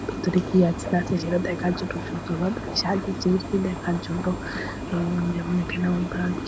ভিতরে কি আছে না আছে দেখার জন্য সুতহল সাজিয়েছে দেখার জন্য অ্যা যেমন এখানে আবার ব্রাঞ্চ ।